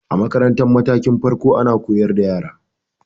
A makarantar matakin farko ana koyar da yara